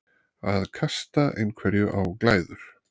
Að kasta einhverju á glæður